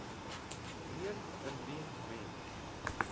meen indien mens